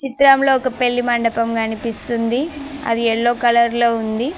చిత్రంలో ఒక పెళ్లి మండపం కనిపిస్తుంది అది ఎల్లో కలర్ లో ఉంది.